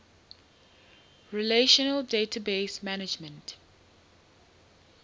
relational database management